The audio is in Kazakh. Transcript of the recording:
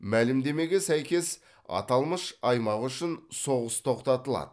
мәлімдемеге сәйкес аталмыш аймақ үшін соғыс тоқтатылады